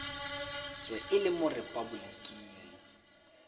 tswe e le mo repaboliking